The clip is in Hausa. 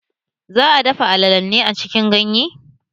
Za'a dafa alalen ne a cikin ganye?